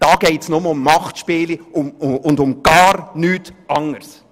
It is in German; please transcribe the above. Da geht es nur um Machtspiele und um gar nichts anderes!